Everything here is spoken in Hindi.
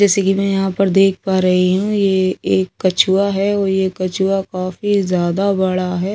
जैसे कि मैं यहां पर देख पा रही हूं ये एक कछुआ है और ये कछुआ काफी जादा बड़ा है तो--